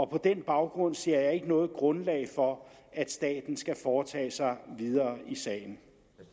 på den baggrund ser jeg ikke noget grundlag for at staten skal foretage sig videre i sagen